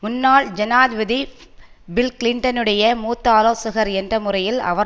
முன்னாள் ஜனாதிபதி பில் கிளின்டனுடைய மூத்த ஆலோசகர் என்ற முறையில் அவர்